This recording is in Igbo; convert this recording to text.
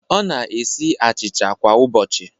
Ọ na-esi achịcha kwa ụbọchị